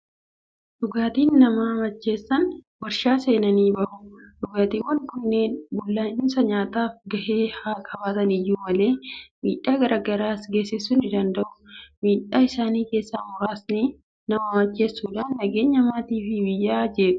Dhugaatiin nama macheessan waarshaa seenanii bahu. Dhugaatiiwwan kunneen bullaa'insa nyaataaf gahee haa qabaatan iyyuu malee, miidhaa garaa garaas geessisuu ni danda'u. Miidhaa isaanii keessaa muraasni nama macheessuudhaan nageenya maatii fi biyyaa jeequ!